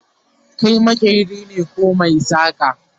Kai maƙeri ne koh maisaka?